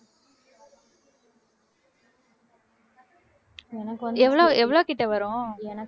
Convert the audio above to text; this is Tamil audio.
எவ்ளோ எவ்ளோ கிட்ட வரும்